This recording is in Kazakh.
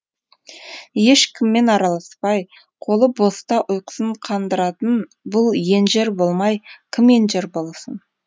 ешкіммен араласпай қолы боста ұйқысын қандыратын бұл енжер болмай кім енжар болсын